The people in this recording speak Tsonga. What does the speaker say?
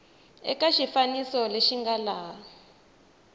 eka xifaniso lexi nga laha